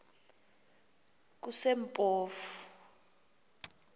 kusempofu